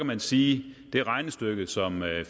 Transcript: man sige at det regnestykke som